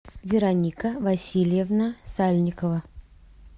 вероника васильевна сальникова